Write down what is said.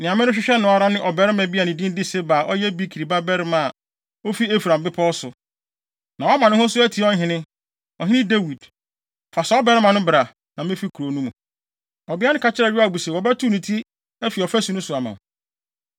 Nea merehwehwɛ no ara ne ɔbarima bi a ne din de Seba a ɔyɛ Bikri babarima a ofi Efraim bepɔw so, na wama ne ho so atia ɔhene, ɔhene Dawid. Fa saa ɔbarima no bra, na mefi kurow no mu.” Ɔbea no ka kyerɛɛ Yoab se, “Wɔbɛtow ne ti afi ɔfasu no so ama wo.”